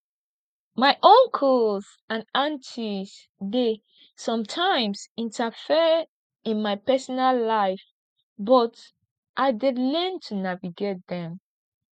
my uncles and aunties dey sometimes interfere in my personal life but i dey learn to navigate dem